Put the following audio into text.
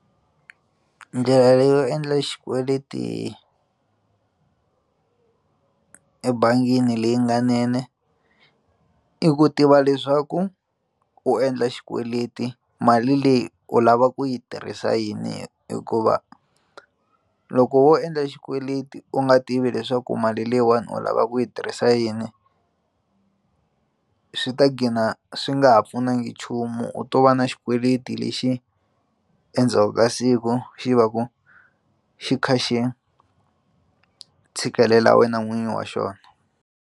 Ndlela leyo endla xikweleti ebangini leyi nga i ku tiva leswaku u endla xikweleti mali leyi u lava ku yi tirhisa yini hikuva loko wo endla xikweleti u nga tivi leswaku mali leyiwani u lava ku yi tirhisa yini swi ta dqina swi nga ha pfunanga nchumu u to va na xikweleti lexi endzhaku ka siku xi va ku xi kha xi tshikelela wena n'wini wa xona.